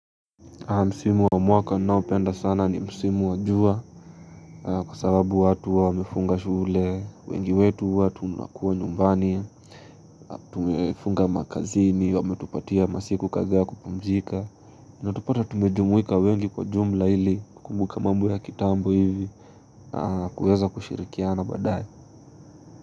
Msimu wa mwaka ninaopenda sana ni Msimu wa jua Kwa sababu watu huwa wamefunga shule wengi wetu huwa tunakuwa nyumbani Tumefunga makazini wametupatia masiku kadhaa ya kupumzika Utatupata tumejumuika wengi kwa jumla ili kukumbuka mambo ya kitambo hivi na kuweza kushirikiana badaaye.